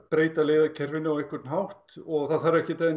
breyta leiðakerfinu á einhvern hátt og það þarf ekki